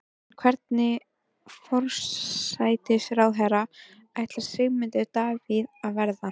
En hvernig forsætisráðherra ætlar Sigmundur Davíð að verða?